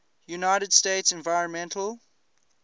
united states environmental